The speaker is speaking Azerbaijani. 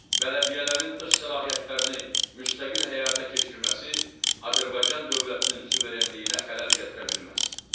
Bələdiyyələrin öz səlahiyyətlərini müstəqil həyata keçirməsi Azərbaycan dövlətinin suverenliyinə xələl gətirə bilməz.